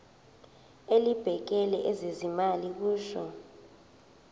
elibhekele ezezimali kusho